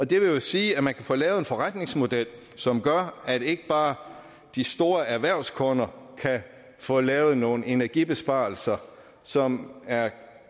det vil jo sige at man kan få lavet en forretningsmodel som gør at ikke bare de store erhvervskunder kan få lavet nogle energibesparelser som er